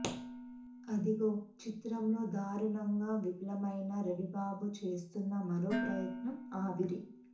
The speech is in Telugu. అదుగో చిత్రంతో దారుణంగా విఫలమైన రవిబాబు చేస్తోన్న మరో ప్రయత్నం ఆవిరి